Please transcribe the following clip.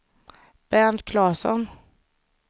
Bernt Claesson